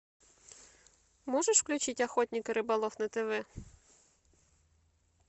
можешь включить охотник и рыболов на тв